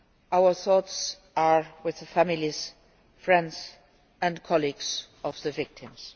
Our thoughts are with the families, friends and colleagues of the victims.